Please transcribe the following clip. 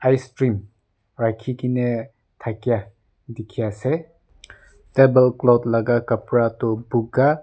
icecream raki kina dakai diki ase table cloth laka color tu boka.